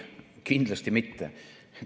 Ei, kindlasti mitte.